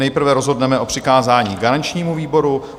Nejprve rozhodneme o přikázání garančnímu výboru.